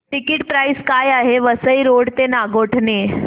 ticket price काय आहे Vasai road ते नागोठणे